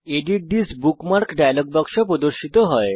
edit this bookmark dialog বাক্স প্রদর্শিত হয়